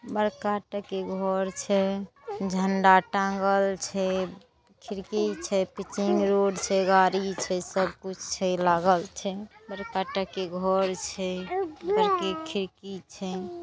बड़का टके घर छै। झंडा टांगल छैखिड़की छै पिचिंग रोड छै गाड़ी छै सब कुछ छै लागल छै बड़का टके घर छै बड़की खिड़की छै।